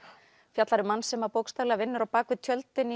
fjallar um mann sem bókstaflega vinnur á bak við tjöldin